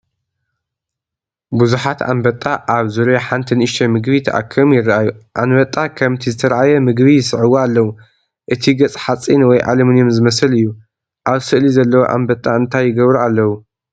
ብዙሓት ኣንበጣ (ራቢጣ) ኣብ ዙርያ ሓንቲ ንእሽቶ ምግቢ ተኣኪቦም ይረኣዩ። ኣንበጣ ከምቲ ዝተርኣየ ምግቢ ይስዕብዎ ኣለዉ። እቲ ገጽ ሓጺን ወይ ኣሉሚንየም ዝመስል እዩ። ኣብ ስእሊ ዘለዉ ኣንበጣ እንታይ ይገብሩ ኣለዉ?